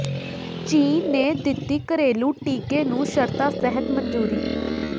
ਚੀਨ ਨੇ ਦਿੱਤੀ ਘਰੇਲੂ ਟੀਕੇ ਨੂੰ ਸ਼ਰਤਾਂ ਸਹਿਤ ਮਨਜ਼ੂਰੀ